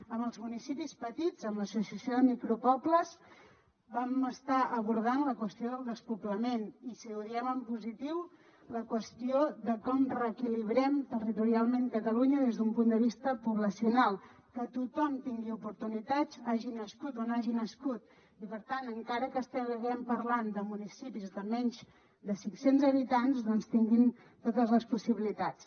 amb els municipis petits amb l’associació de micropobles vam estar abordant la qüestió del despoblament i si ho diem en positiu la qüestió de com reequilibrem territorialment catalunya des d’un punt de vista poblacional que tothom tingui oportunitats hagi nascut on hagi nascut i per tant encara que estiguem parlant de municipis de menys de cinc cents habitants doncs tinguin totes les possibilitats